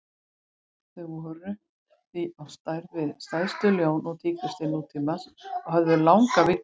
Þau voru því á stærð við stærstu ljón og tígrisdýr nútímans og höfðu langar vígtennur.